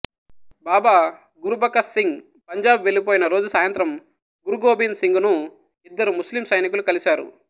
బాబా గురుబఖష్ సింగ్ పంజాబ్ వెళ్ళిపోయిన రోజు సాయంత్రం గురు గోబింద్ సింగ్ ను ఇద్దరు ముస్లిం సైనికులు కలిశారు